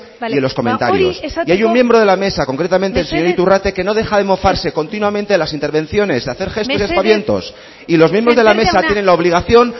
y en los comentarios bueno mesedez ba guri esateko y hay un miembro de la mesa concretamente el señor iturrate que no deja de mofarse continuamente de las intervenciones de hacer gestos y aspavientos y los miembros de la mesa tienen la obligación